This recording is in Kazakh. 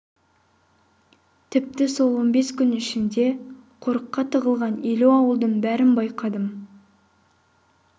тіпті сол он бес күн ішінде қорыққа тығылған елу ауылдың бәрін байқадым